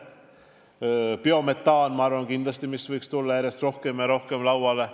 Edasi, ka biometaan võiks kindlasti tulla järjest rohkem ja rohkem lauale.